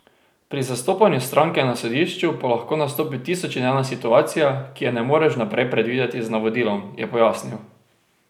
Pri zastopanju stranke na sodišču pa lahko nastopi tisoč in ena situacija, ki je ne moreš vnaprej predvideti z navodilom, je pojasnil.